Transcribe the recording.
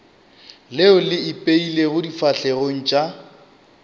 leo le ipeilego difahlegong tša